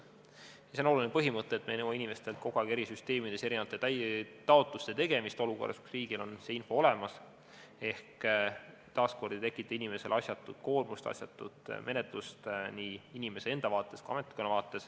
See on oluline põhimõte, et me ei nõua inimestelt kogu aeg eri süsteemides erinevate taotluste tegemist olukorras, kus riigil on info olemas, ehk taas ei tekita inimestele asjatut koormust, asjatut menetlust nii inimeste enda vaates kui ka ametkonna vaates.